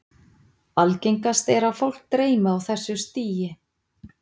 Algengast er að fólk dreymi á þessu stigi.